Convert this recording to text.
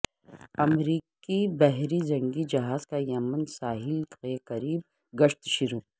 امریکی بحری جنگی جہاز کا یمن کے ساحل کے قریب گشت شروع